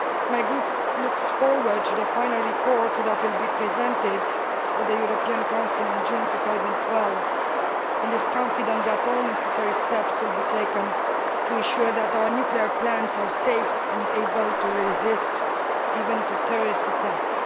My group looks forward to the final report that will be presented at the European Council in June 2012, and is confident that all the necessary steps will be taken to ensure that our nuclear plants are safe and even able to resist terrorist attacks.